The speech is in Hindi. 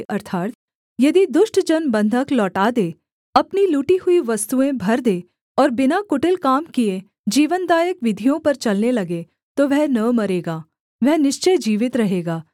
अर्थात् यदि दुष्ट जन बन्धक लौटा दे अपनी लूटी हुई वस्तुएँ भर दे और बिना कुटिल काम किए जीवनदायक विधियों पर चलने लगे तो वह न मरेगा वह निश्चय जीवित रहेगा